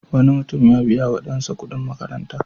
Wani mutum ya biya wa ɗansa kuɗin makaranta.